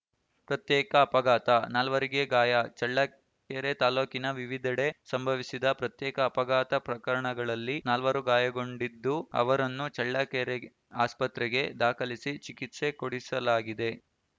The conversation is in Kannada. ಪ್ರತ್ಯೇಕ ಅಪಘಾತ ನಾಲ್ವರಿಗೆ ಗಾಯ ಚಳ್ಳಕೆರೆ ತಾಲೂಕಿನ ವಿವಿಧೆಡೆ ಸಂಭವಿಸಿದ ಪ್ರತ್ಯೇಕ ಅಪಘಾತ ಪ್ರಕರಣಗಳಲ್ಲಿ ನಾಲ್ವರು ಗಾಯಗೊಂಡಿದ್ದು ಅವರನ್ನು ಚಳ್ಳಕೆರೆ ಆಸ್ಪತ್ರೆಗೆ ದಾಖಲಿಸಿ ಚಿಕಿತ್ಸೆ ಕೊಡಿಸಲಾಗಿದೆ